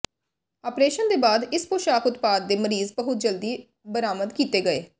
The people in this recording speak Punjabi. ਆਪਰੇਸ਼ਨ ਦੇ ਬਾਅਦ ਇਸ ਪੋਸ਼ਕ ਉਤਪਾਦ ਦੇ ਮਰੀਜ਼ ਬਹੁਤ ਜਲਦੀ ਬਰਾਮਦ ਕੀਤੇ ਗਏ